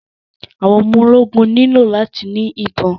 Àwọn ọmọ ológun nílò láti ni ìbọn.